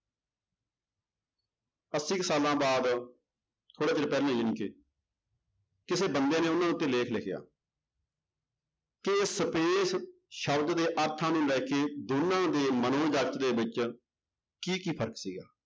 ਅੱਸੀ ਕੁ ਸਾਲਾਂ ਬਾਅਦ ਥੋੜ੍ਹੇ ਦਿਨ ਪਹਿਲੇ ਜਾਣੀ ਕਿ ਕਿਸੇ ਬੰਦੇ ਨੇ ਉਹਨਾਂ ਉੱਤੇ ਲੇਖ ਲਿਖਿਆ ਕਿ space ਸ਼ਬਦ ਦੇ ਅਰਥਾਂ ਨੂੰ ਲੈ ਕੇ ਦੋਨਾਂ ਦੇ ਮਨੋ ਜਗਤ ਦੇ ਵਿੱਚ ਕੀ ਕੀ ਫ਼ਰਕ ਸੀਗਾ